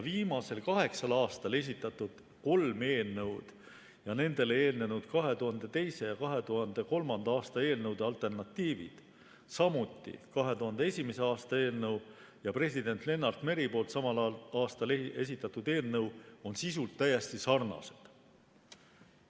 Viimasel kaheksal aastal esitatud kolm eelnõu ja nendele eelnenud 2002. ja 2003. aasta eelnõude alternatiivid, samuti 2001. aasta eelnõu ja president Lennart Meri samal aastal esitatud eelnõu on sisult täiesti sarnased.